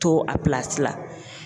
To a la